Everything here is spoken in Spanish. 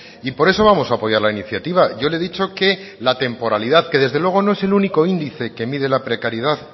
y por eso vamos a apoyar la iniciativa yo le he dicho que la temporalidad que desde luego no es el único índice que mide la precariedad